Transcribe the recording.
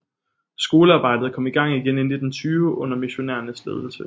Skolearbejdet kom i gang igen i 1920 under missionærernes ledelse